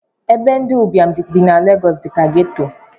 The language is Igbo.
Ebe ndi ụbịam bi na legosi dika geto